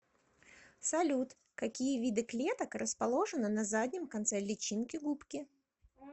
салют какие виды клеток расположены на заднем конце личинки губки